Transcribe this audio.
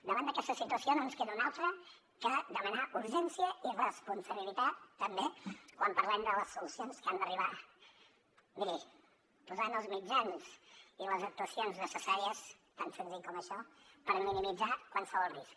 davant d’aquesta situació no ens queda una altra que demanar urgència i responsabilitat també quan parlem de les solucions que han d’arribar miri posant els mitjans i les actuacions necessàries tan senzill com això per minimitzar qualsevol risc